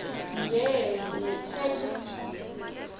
nje nitheth ukuthi